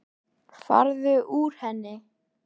Frænka mín fékk hraðasekt á Norðurlandi.